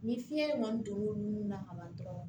Ni fiɲɛ kɔni don l'o nun na ka ban dɔrɔn